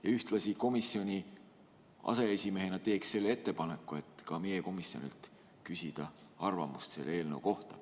Ja ühtlasi ma selle komisjoni aseesimehena teen selle ettepaneku, et ka meie komisjonilt küsida arvamust selle eelnõu kohta.